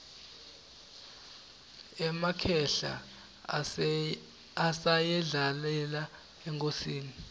emakhehla asayendlalele inkhosi